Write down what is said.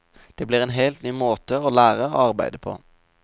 Det blir en helt ny måte å lære og arbeide på.